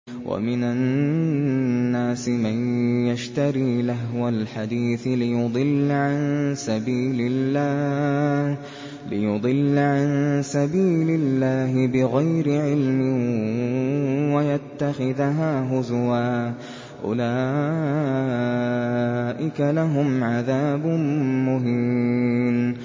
وَمِنَ النَّاسِ مَن يَشْتَرِي لَهْوَ الْحَدِيثِ لِيُضِلَّ عَن سَبِيلِ اللَّهِ بِغَيْرِ عِلْمٍ وَيَتَّخِذَهَا هُزُوًا ۚ أُولَٰئِكَ لَهُمْ عَذَابٌ مُّهِينٌ